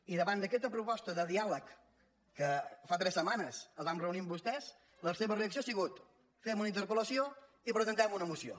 i davant d’aquesta proposta de diàleg que fa tres setmanes ens vam reunir amb vostès la seva reacció ha sigut fem una interpeluna moció